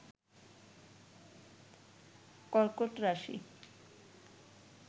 কর্কট রাশি